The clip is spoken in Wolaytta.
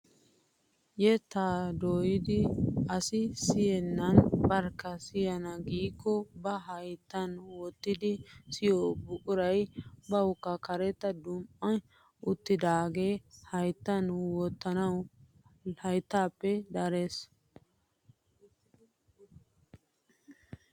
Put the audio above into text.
Yettaa dooyidi asi siyennan barkka siyana giikko ba hayittan wottidi siyyiyo buquray bawukka karetta dum'i uttidaage hayittan wottanawu hayittaappe dares.